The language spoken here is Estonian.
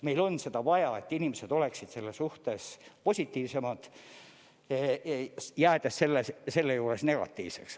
Meil on seda vaja, et inimesed oleksid selle suhtes positiivsemad, jäädes selle juures negatiivseks.